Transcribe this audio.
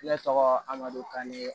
Ne tɔgɔ amadu kanye